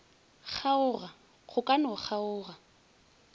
kgaoga go ka no kgaoga